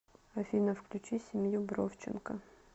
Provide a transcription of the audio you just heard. афина включи семью бровченко